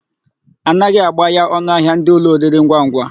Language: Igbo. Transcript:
A naghị agbaya ọnụahịa ndị ụlọ oriringwangwa.